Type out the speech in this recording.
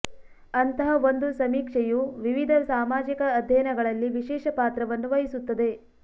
ಅಂತಹ ಒಂದು ಸಮೀಕ್ಷೆಯು ವಿವಿಧ ಸಾಮಾಜಿಕ ಅಧ್ಯಯನಗಳಲ್ಲಿ ವಿಶೇಷ ಪಾತ್ರವನ್ನು ವಹಿಸುತ್ತದೆ